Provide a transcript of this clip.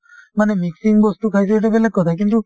মানে mixing বস্তু খাইছো সেইটো বেলেগ কথা কিন্তু